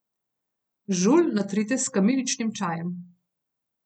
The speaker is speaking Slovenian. Žulj natrite s kamiličnim čajem.